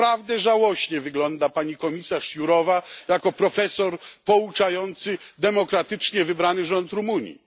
I naprawdę żałośnie wygląda pani komisarz Jourová jako profesor pouczający demokratycznie wybrany rząd Rumunii.